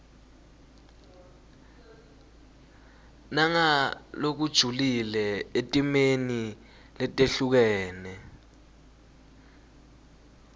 nangalokujulile etimeni letehlukene